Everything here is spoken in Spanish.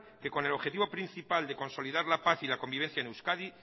que con el objetivo principal de consolidar la paz y la convivencia en euskadi